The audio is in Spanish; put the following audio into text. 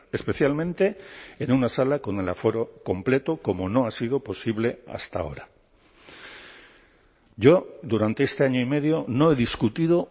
especialmente en una sala con el aforo completo como no ha sido posible hasta ahora yo durante este año y medio no he discutido